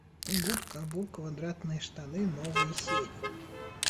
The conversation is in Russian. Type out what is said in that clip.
губка боб квадратные штаны новые серии